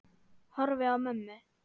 Horfi á mömmu.